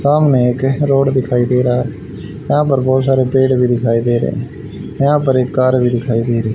सामने एक रोड दिखाई दे रहा यहां पर बहुत सारे पेड़ भी दिखाई दे रहे यहां पर एक का भी दिखाई दे रही --